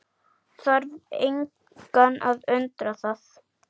Þarf engan að undra það.